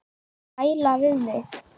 Gæla við mig.